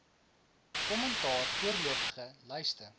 kommentaar voorlopige lyste